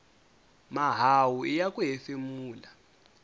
mahawu iya ku hefemula